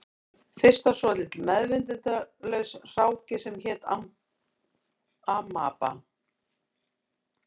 Fyrst var svolítill meðvitundarlaus hráki sem hét amaba